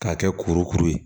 K'a kɛ kuru kuru ye